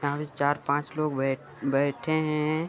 यहाँ पास चार-पांच लोग बै बैठे हैं।